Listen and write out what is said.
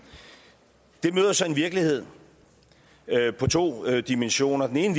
det møder så en virkelighed med to dimensioner den ene